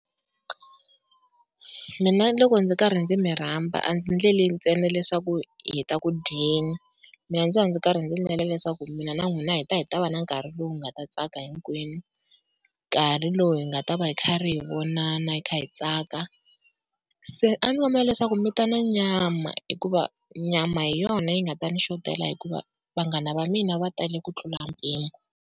Mina loko ndzi karhi ndzi mi rhamba a ndzi endleli ntsena leswaku hi ta ku dyeni, mina ndzi va ndzi karhi ndzi endlela leswaku mina na n'wina hi ta hi ta va na nkarhi lowu hi nga ta tsaka hinkwenu, nkarhi lowu hi nga ta va kha ri hi vona kha hi tsaka. Se a ndzi kombela leswaku mi ta na nyama, hikuva nyama hi yona yi nga ta ni xothela hikuva vanghana va mina va tali ku tlula mpimo.